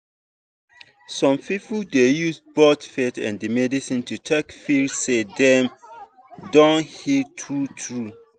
some people dey use both faith and medicine to take feel say dem don heal true-true.